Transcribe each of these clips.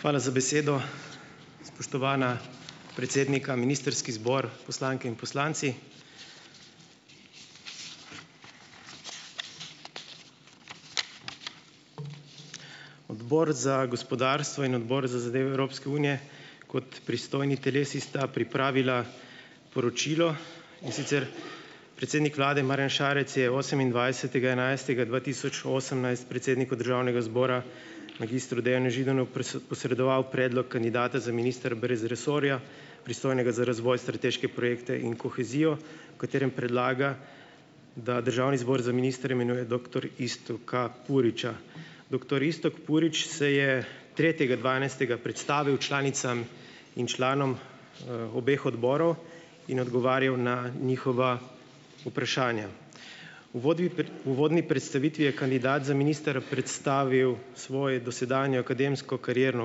Hvala za besedo! Spoštovana predsednika, ministrski zbor, poslanke in poslanci! Odbor za gospodarstvo in Odbor za zadeve Evropske unije kot pristojni telesi sta pripravila poročilo, in sicer: "Predsednik vlade Marjan Šarec je osemindvajsetega enajstega dva tisoč osemnajst predsedniku državnega zbora, magistru Dejanu Židanu posredoval predlog kandidata za ministra brez resorja, pristojnega za razvoj, strateške projekte in kohezijo, v katerem predlaga, da državni zbor za ministra imenuje doktor Iztoka Puriča. Doktor Iztok Purič se je tretjega dvanajstega predstavil članicam in članom, obeh odborov in odgovarjal na njihova vprašanja. Uvodvi prej, uvodni predstavitvi je kandidat za ministra predstavil svoje dosedanjo akademsko karierno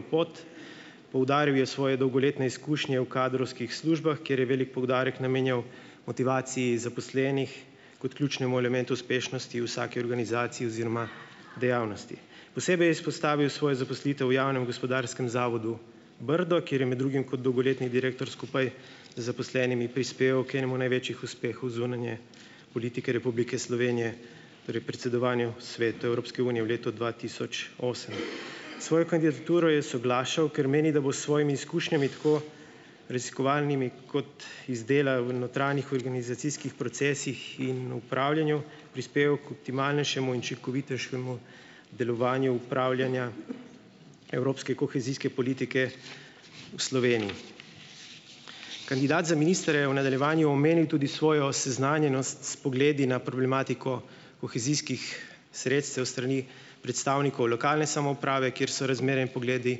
pot, poudaril je svoje dolgoletne izkušnje v kadrovskih službah, kjer je velik poudarek namenjal motivaciji zaposlenih kot ključnemu elementu uspešnosti vsake organizacije oziroma dejavnosti. Posebej je izpostavil svojo zaposlitev v javnem gospodarskem zavodu Brdo, kjer je med drugim kot dolgoletni direktor skupaj z zaposlenimi prispeval k enemu največjih uspehov zunanje politike Republike Slovenije, torej predsedovanju Svetu Evropske unije v letu dva tisoč osem. S svojo kandidaturo je soglašal, ker meni, da bo s svojimi izkušnjami, tako raziskovalnimi kot iz dela v notranjih organizacijskih procesih in upravljanju, prispeval k optimalnejšemu in učinkovitejšemu delovanju upravljanja evropske kohezijske politike v Sloveniji. Kandidat za ministra je v nadaljevanju omenil tudi svojo seznanjenost s pogledi na problematiko kohezijskih sredstev s strani predstavnikov lokalne samouprave, kjer so razmerja in pogledi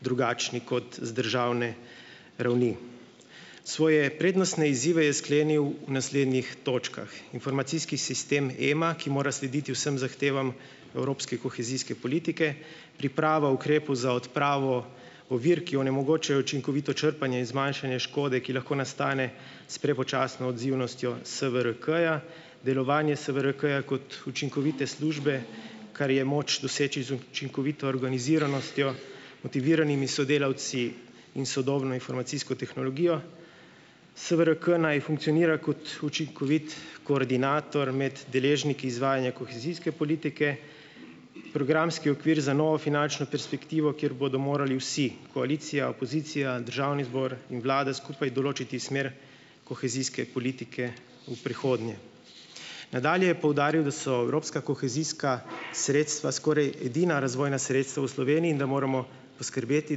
drugačni kot z državne ravni. Svoje prednostne izzive je sklenil v naslednjih točkah: informacijski sistem EMA, ki mora slediti vsem zahtevam evropske kohezijske politike, priprava ukrepu za odpravo ovir, ki onemogočajo učinkovito črpanje in zmanjšanje škode, ki lahko nastane s prepočasno odzivnostjo SVRK-ja, delovanje SVRK-ja kot učinkovite službe, kar je moč doseči z učinkovito organiziranostjo, motiviranimi sodelavci in sodobno informacijsko tehnologijo. SVRK naj funkcionira kot učinkovit koordinator med deležniki izvajanja kohezijske politike, programski okvir za novo finančno perspektivo, kjer bodo morali vsi, koalicija, opozicija, državni zbor in vlada skupaj določiti smer kohezijske politike v prihodnje. Nadalje je poudaril, da so evropska kohezijska sredstva skoraj edina razvojna sredstva v Sloveniji in da moramo poskrbeti,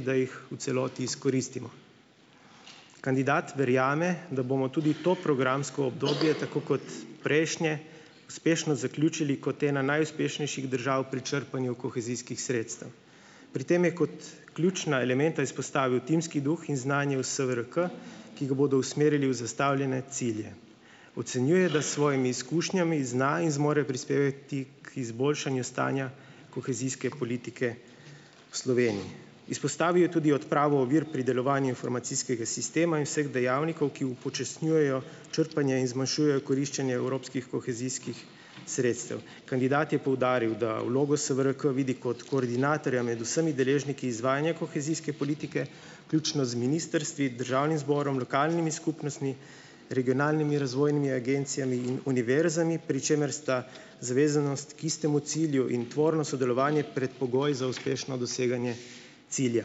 da jih v celoti izkoristimo. Kandidat verjame, da bomo tudi v to programsko obdobje tako kot prejšnje uspešno zaključili kot ena najuspešnejših držav pri črpanju kohezijskih sredstev. Pri tem je kot ključna elementa izpostavil timski duh in znanje v SVRK, ki ga bodo usmerili v zastavljene cilje. Ocenjuje, da s svojimi izkušnjami zna in zmore prispevati k izboljšanju stanja kohezijske politike v Sloveniji. Izpostavil je tudi odpravo ovir pri delovanju informacijskega sistema in vseh dejavnikov, ki upočasnjujejo črpanje in zmanjšujejo koriščenje evropskih kohezijskih sredstev. Kandidat je poudaril, da vlogo SVRK vidi kot koordinatorja med vsemi deležniki izvajanja kohezijske politike, vključno z ministrstvi, državnim zborom, lokalnimi skupnostmi, regionalnimi razvojnimi agencijami in univerzami, pri čemer sta zavezanost k istemu cilju in tvorno sodelovanje predpogoj za uspešno doseganje cilja."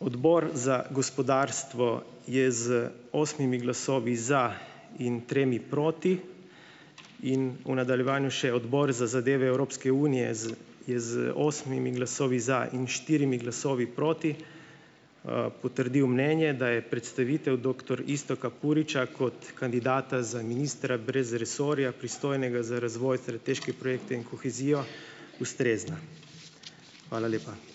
Odbor za gospodarstvo je z osmimi glasovi za in tremi proti in v nadaljevanju še Odbor za zadeve Evropske unije z, je z osmimi glasovi za in štirimi glasovi proti, potrdil mnenje, da je predstavitev doktor Iztoka Puriča kot kandidata za ministra brez resorja, pristojnega za razvoj, strateške projekte in kohezijo, ustrezna. Hvala lepa.